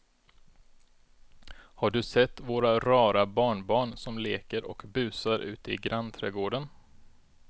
Har du sett våra rara barnbarn som leker och busar ute i grannträdgården!